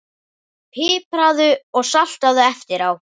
Pipraðu og saltaðu eftir á.